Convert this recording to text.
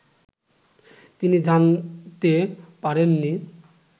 তিনি জানতে পারেননি